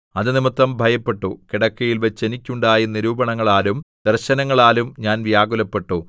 അതുനിമിത്തം ഭയപ്പെട്ടു കിടക്കയിൽവച്ച് എനിക്കുണ്ടായ നിരൂപണങ്ങളാലും ദർശനങ്ങളാലും ഞാൻ വ്യാകുലപ്പെട്ടു